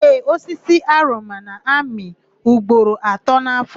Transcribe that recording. Ee, osisi oroma m na-amị ugboro atọ n'áfọ̀.